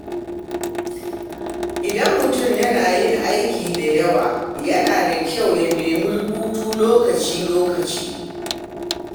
Idan mutum yana yin aiki da yawa, yana da kyau ya nemi hutu lokaci-lokaci.